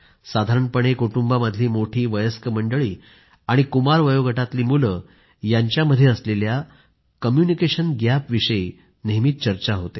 साधारणपणे कुटुंबामधली मोठी वयस्क मंडळी आणि कुमार वयोगटातली मुलं यांच्यामध्ये असलेल्या कम्युनिकेशन गॅप याविषयी नेहमीच चर्चा होते